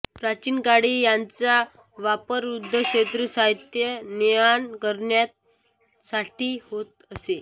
प्राचीन काळी यांचा वापर युद्धक्षेत्री साहित्याची नेआण करण्यासाठी होत असे